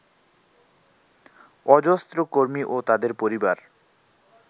অজস্র কর্মী ও তাঁদের পরিবার